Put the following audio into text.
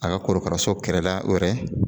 A ka korokaraso kɛrɛda wɛrɛ